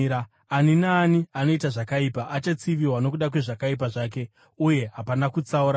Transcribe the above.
Ani naani anoita zvakaipa achatsiviwa nokuda kwezvakaipa zvake, uye hapana kutsaura vanhu.